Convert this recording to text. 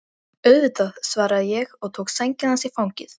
Auðvitað, svaraði ég og tók sængina hans í fangið.